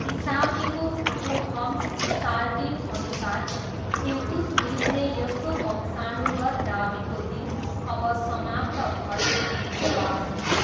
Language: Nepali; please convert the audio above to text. इसामीको फुटुहम्स सालटिनअनुसार इल्तुतमिसले यस्तो वंशाणुगत दावीको दिन अब समाप्त भयो भनी जवाफ दिए।